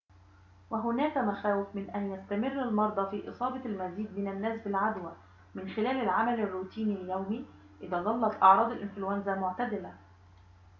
وهناك مخاوف من أن يستمر المرضى في إصابة المزيد من الناس بالعدوى من خلال العمل الروتيني اليومي إذا ظلت أعراض الإنفلونزا معتدلة